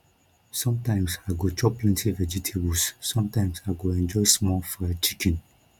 sometimes i go chop plenty vegetables sometimes i go enjoy small fried chicken